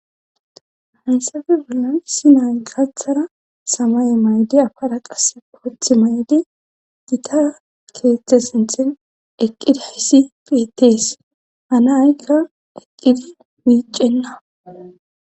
Hansafe bollan issi nay gathara samay mayde afara qasse pooth mayde dita keeththe sinthen eqqidi haisi pitees hana aykka eqqidi miicenna